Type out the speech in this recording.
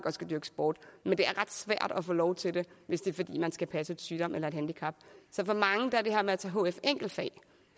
og skal dyrke sport men det er ret svært at få lov til det hvis det er fordi man skal passe en sygdom eller et handicap så for mange er det her med at tage hf enkeltfag